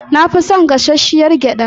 Na fi son gashashshiyar gyada.